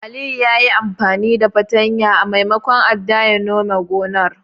Aliyu yayi amfani da fartanya maimakon adda ya nome gonar.